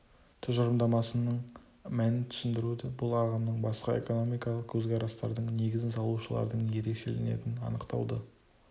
тұжырымдамасының мәнін түсіндіруді бұл ағымның басқа экономикалық көзқарастардың негізін салушылардың ерекшелінетін анықтауды